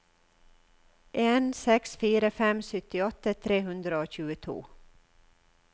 en seks fire fem syttiåtte tre hundre og tjueto